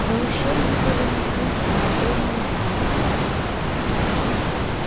до ушей его донеслись знакомые звуки